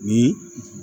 Ni